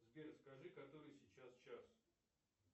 сбер скажи который сейчас час